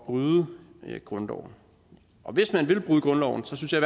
bryde grundloven hvis man vil bryde grundloven synes jeg